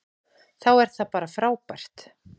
Þá er það bara frábært.